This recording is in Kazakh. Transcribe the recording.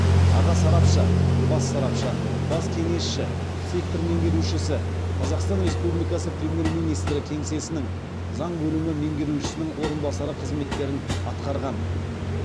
аға сарапшы бас сарапшы бас кеңесші сектор меңгерушісі қазақстан республикасы премьер министрі кеңсесінің заң бөлімі меңгерушісінің орынбасары қызметтерін атқарған